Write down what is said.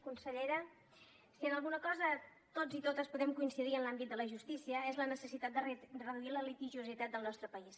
consellera si en alguna cosa tots i totes podem coincidir en l’àmbit de la justícia és en la necessitat de reduir la litigiositat del nostre país